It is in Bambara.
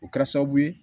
O kɛra sababu ye